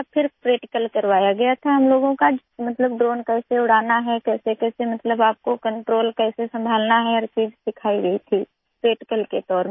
फिर प्रैक्टिकल करवाया गया था हम लोगों का मतलब ड्रोन कैसे उड़ाना है कैसेकैसे मतलब आपको कंट्रोल कैसे संभालना है हर चीज़ सिखाई गई थी प्रैक्टिकल के तौर में